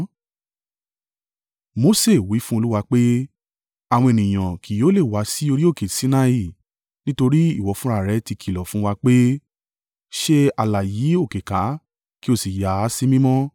Mose wí fún Olúwa pé, “Àwọn ènìyàn kì yóò lè wá sí orí òkè Sinai, nítorí ìwọ fúnra rẹ̀ ti kìlọ̀ fún wa pé, ‘Ṣe ààlà yí òkè ká, kí o sì yà á sí mímọ́.’ ”